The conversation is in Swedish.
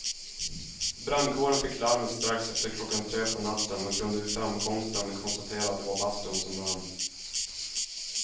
Brandkåren fick larmet strax efter klockan tre på natten och kunde vid framkomsten konstatera att det var bastun som brann.